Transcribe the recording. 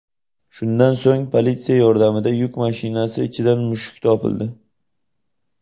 Shundan so‘ng politsiya yordamida yuk mashinasi ichidan mushuk topildi.